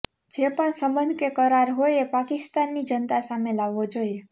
જે પણ સંબંધ કે કરાર હોય એ પાકિસ્તાનની જનતા સામે લાવવો જોઈએ